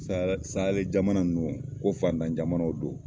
sayɛli jamana ninnu ko fatan jamanaw do.